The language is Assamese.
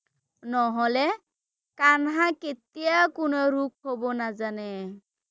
নহ’লে কানহা কেতিয়াও কোনো ৰোগ হ’ব নাজানে ৷